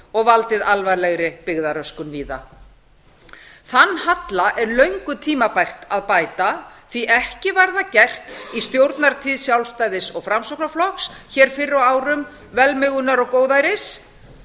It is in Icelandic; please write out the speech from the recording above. og valdið alvarlegri byggðaröskun víða þann halla er löngu tímabært að bæta því ekki var það gert í stjórnartíð sjálfstæðis og framsóknarflokks fyrr á árum velmegunar og góðæris